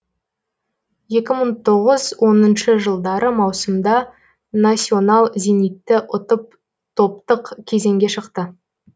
екі мың тоғыз оныншы жылдары маусымда насьонал зенитты ұтып топтық кезеңге шықты